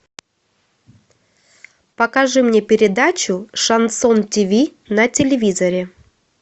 покажи мне передачу шансон тиви на телевизоре